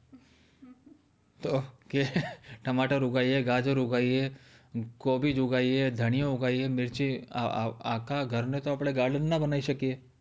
તો કે ટમાટર ઉગાવીયે ગાજર ઉગાવીયે કોબીજ ઉગાવીયે ધનિયા ઉગવીયે મીરિચી આખા ઘરેને તો આપણે garden ના બનાવી શકીયે